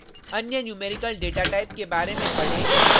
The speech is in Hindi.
अन्य numerical डेटाटाइप के बारे में पढें और